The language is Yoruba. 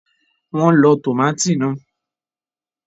Wọ́n lọ tòmátì náà